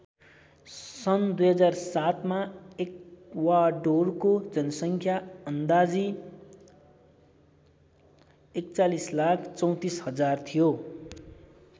सन् २००७ मा एक्वाडोरको जनसङ्ख्या अन्दाजी ४१३४००० थियो।